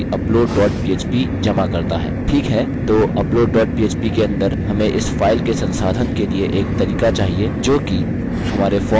ठीक है तो upload dot php के अंदर हमें इस फाइल के संसाधन के लिए एक तरीका चाहिए जोकि हमारे फॉर्म से जमा हुई है